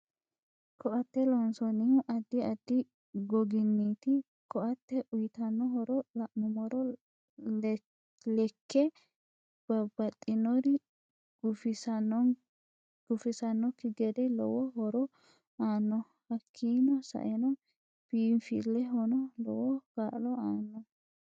Ko'tte loonsanihu addi addi goginiiti ko'atte uyiitanno horo la'numoro lekke babbaxinori gufisannokki gede lowo horo aano hakiini sa'enno biinfilehono lowo kaa'lo aanno